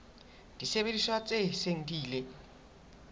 disebediswa tse seng di ile